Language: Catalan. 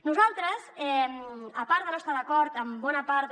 nosaltres a part de no estar d’acord amb bona part de